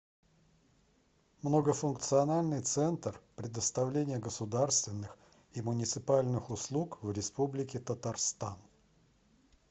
многофункциональный центр предоставления государственных и муниципальных услуг в республике татарстан